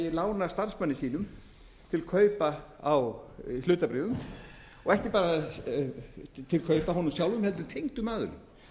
lána starfsmanni sínum til kaupa á hlutabréfum og ekki bara til kaupa af honum sjálfum heldur tengdum aðilum það